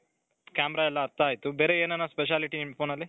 camera ಎಲ್ಲಾ ಅರ್ಥ ಆಯ್ತು ಬೇರೆ ಎನಾನ speciality ನಿಮ್ phoneನಲ್ಲಿ .